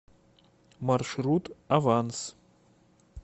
маршрут аванс